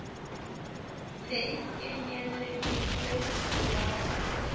ne e kenyelleditswe ho ba